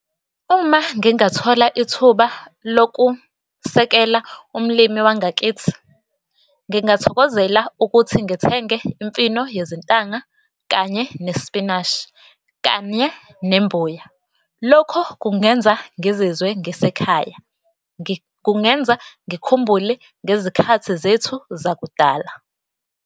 Uma ngingathola ithuba lokusekela umlimi wangakithi, ngingathokozela ukuthi ngithenge imfino yezintanga kanye nesipinashi kanye nembuya. Lokhu kungenza ngizizwe ngisekhaya, kungenza ngikhumbule ngezikhathi zethu zakudala.